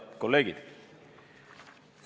Head kolleegid!